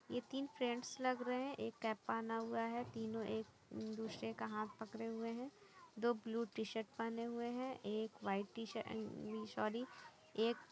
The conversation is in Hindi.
ये तीन फ्रेंड्स लग रहे है एक कैप पहना हुआ हैं तीनो एक दूसरे का हाथ पकडे हुए है दो ब्लू टी शर्ट पहने हुए हैं एक white T shirt and me sorry एक--